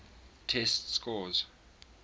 test scores